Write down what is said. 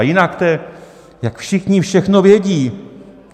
A jinak to je, jak všichni všechno vědí.